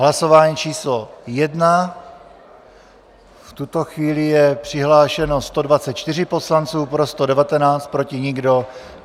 Hlasování číslo 1, v tuto chvíli je přihlášeno 124 poslanců, pro 119, proti nikdo.